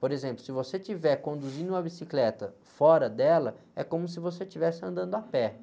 Por exemplo, se você estiver conduzindo uma bicicleta fora dela, é como se você estivesse andando a pé.